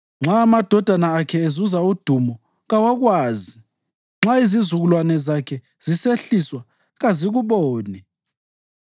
Nxa amadodana akhe ezuza udumo, kawakwazi; nxa izizukulwane zakhe zisehliswa, kazikuboni.